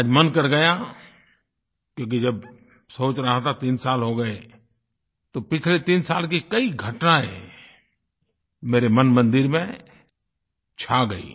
आज मन कर गया क्योंकि जब सोच रहा था तीन साल हो गये तो पिछले तीन साल की कई घटनायें मेरे मनमंदिर में छा गयीं